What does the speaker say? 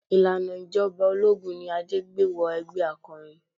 Ìlànà ìjọba ológun ni Adé gbé wọ ẹgbẹ́ akọrin.